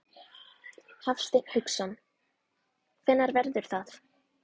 Hafsteinn Hauksson: Hvenær verður það?